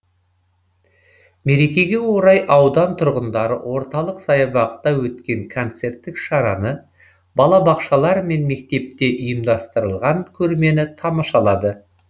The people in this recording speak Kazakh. мерекеге орай аудан тұрғындары орталық саябақта өткен концерттік шараны балабақшалар мен мектепте ұйымдастырылған көрмені тамашалады